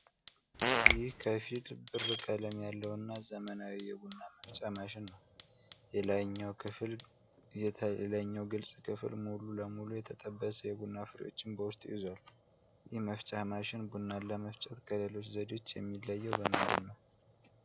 ይህ ከፊል-ብር ቀለም ያለውና ዘመናዊ የቡና መፍጫ ማሽን ነው። የላይኛው ግልጽ ክፍል ሙሉ ለሙሉ የተጠበሰ የቡና ፍሬዎችን በውስጡ ይዟል። ይህ መፍጫ ማሽን ቡናን ለመፍጨት ከሌሎች ዘዴዎች የሚለየው በምንድን ነው?